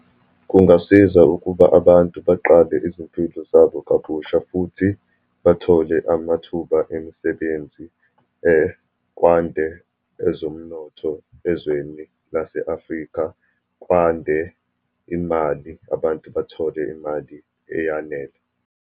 Kungasiza ukuba abantu baqale izimpilo zabo kabusha, futhi bathole amathuba emisebenzi kwande ezomnotho ezweni lase-Afrika, kwande imali, abantu bathole imali eyanele.